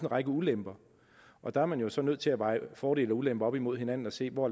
række ulemper og der er man så nødt til at veje fordele og ulemper op imod hinanden og se hvor